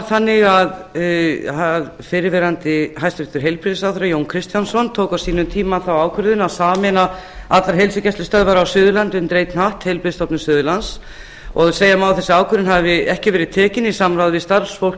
þannig að fyrrverandi hæstvirtum heilbrigðisráðherra jón kristjánsson tók á sínum tíma þá ákvörðun að sameina allar heilsugæslustöðvar á suðurlandi undir einn hatt heilbrigðisstofnun suðurlands það má segja að þessi ákvörðun hafi ekki verið tekin í samráði við starfsfólk